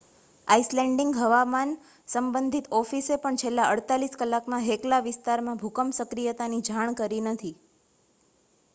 Icelandic હવામાન સંબંધિત ઓફિસે પણ છેલ્લાં 48 કલાકમાં હેકલા વિસ્તારમાં ભૂકંપ સક્રિયતાની જાણ કરી નથી